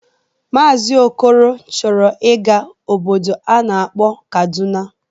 Maazi Okoro chọrọ ịga obodo a na-akpọ Kaduna.